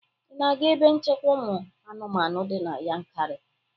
Ị na-aga ebe nchekwa ụmụ anụmanụ di na Yankari?